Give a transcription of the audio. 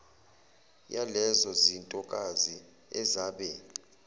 yalezo zintokazi ezabe